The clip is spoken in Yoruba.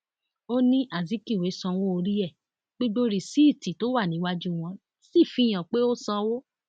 ó ní azikiwe sanwó orí ẹ gbogbo rìsíìtì tó wà níwájú wọn sì fi hàn pé ó sanwó